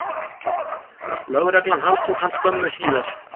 Lögreglan handtók hann skömmu síðar